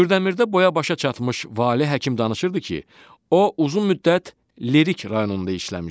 Kürdəmirdə boya-başa çatmış Valeh həkim danışırdı ki, o uzun müddət Lerik rayonunda işləmişdi.